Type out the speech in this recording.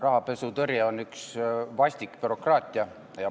Rahapesutõrje on vastik bürokraatia.